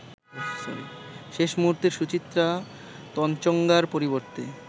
শেষ মুহুর্তে সুচিত্রা তনচংগ্যার পরিবর্তে